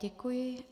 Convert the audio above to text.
Děkuji.